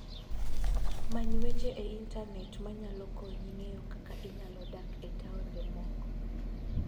Many weche e Intanet ma nyalo konyi ng'eyo kaka inyalo dak e taonde moko.